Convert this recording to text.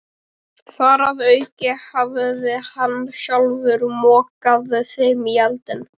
Þar að auki hafði hann sjálfur mokað þeim í eldinn.